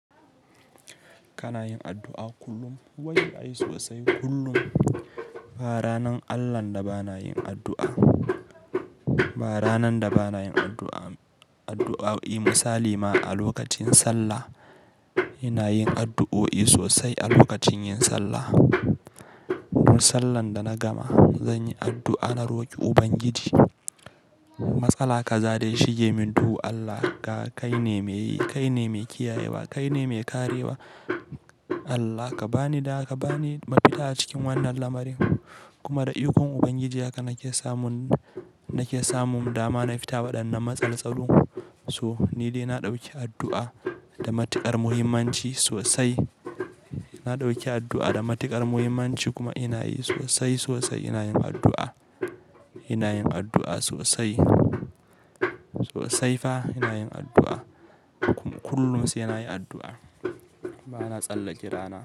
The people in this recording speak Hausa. Kana yin addu'a kullum, wai, ai sosai kullum. Ba ranar Allahn da ba na yin addu'a, ba ranan da ba na yin addu'a, addu'o'i misali ma a lokacin sallah. Ina yin addu'o'i sosai a lokacin yin sallah. Duk sallan da na gama zan yi addu'a na roƙi Ubangiji matsala kaza da ya shige min duhu Allah ka, kai ne mai yi, kai ne mai kiyayewa, kai ne mai karewa. Allah ka bani da, ka bani mafita a cikin wannan lamarin kuma da ikon Ubangiji haka nake samun, nake samun dama na fitaba waɗannan matsaltsalun. To ni dai na ɗauki addu'a da matuƙar muhimmanci sosai. Na ɗauki addu'a da matuƙar muhimmanci kuma ina yi sosai sosai ina yin addu'a. Ina yin addu'a sosai, sosai fa ina yin addu'a. Kullum sai ina yi addu'a. Ba na tsallake rana.